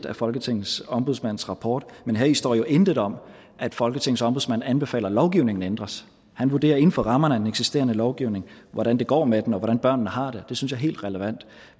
af folketingets ombudsmands rapport men heri står jo intet om at folketingets ombudsmand anbefaler at lovgivningen ændres han vurderer inden for rammerne af den eksisterende lovgivning hvordan det går med den og hvordan børnene har det det synes jeg er helt relevant